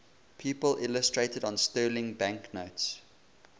people illustrated on sterling banknotes